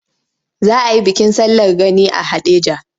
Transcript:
Za a yi bikin sallar gani a Haɗeja.